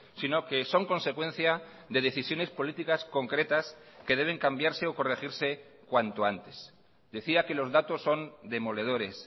sino que son consecuencia de decisiones políticas concretas que deben cambiarse o corregirse cuanto antes decía que los datos son demoledores